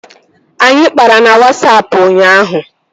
Anyị kpara na Wasapụ ụnyaahụ